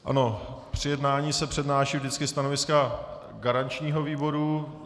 Ano, při jednání se přednáší vždycky stanoviska garančního výboru.